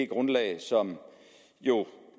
grundlag som jo